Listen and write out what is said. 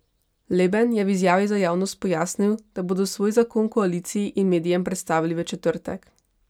Leben je v izjavi za javnost pojasnil, da bodo svoj zakon koaliciji in medijem predstavili v četrtek.